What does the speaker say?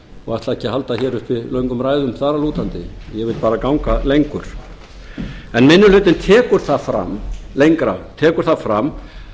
og ætla ekki að halda uppi hér löngum ræðum þar að lútandi ég vil bara ganga lengra en minni hlutinn tekur það fram